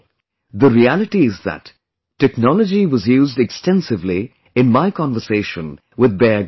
The reality is that technology was used extensively in my conversation with Bear Grylls